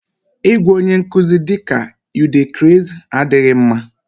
Ịgwa onye nkuzi ihe dịka "u dey craze" adịghị mma